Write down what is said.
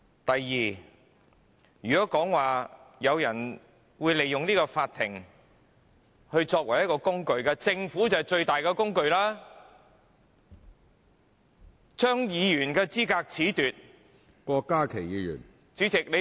第二，如果說，有人利用法庭來作為工具，那麼政府就是把法庭視為最大的工具，政府褫奪議員的資格......